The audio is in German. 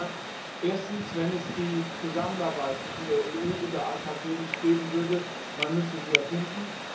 Er hat gesagt Erstens, wenn es die Zusammenarbeit zwischen der EU und den AKP nicht geben würde, müsste man sie erfinden.